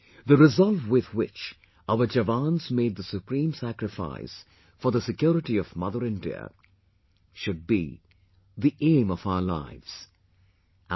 The resolve with which our jawans made the supreme sacrifice for the security of Mother India, should be the aim of our lives...